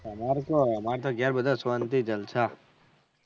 તમારે કેવો અમારે તો ઘેર બધા શાંતિ જલસા